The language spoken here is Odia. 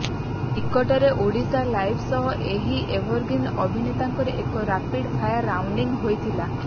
ନିକଟରେ ଓଡ଼ିଶାଲାଇଭ ସହ ଏହି ଏଭରଗ୍ରୀନ ଅଭିନେତାଙ୍କର ଏକ ରାପିଡ ଫାୟାର ରାଉଣ୍ଡି ହୋଇଥିଲା